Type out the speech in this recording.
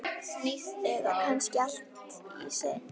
Eða kannski allt í senn?